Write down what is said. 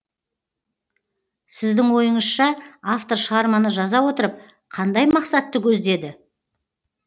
сіздің ойыңызша автор шығарманы жаза отырып қандай мақсатты көздеді